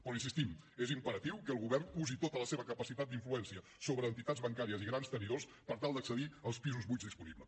però hi insistim és imperatiu que el govern usi tota la seva capacitat d’influència sobre entitats bancàries i grans tenidors per tal d’accedir als pisos buits disponibles